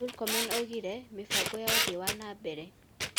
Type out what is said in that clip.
Murkomen oigire, mĩbango ya ũthii wa na mbere,